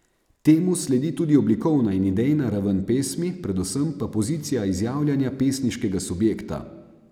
Temu sledi tudi oblikovna in idejna raven pesmi, predvsem pa pozicija izjavljanja pesniškega subjekta.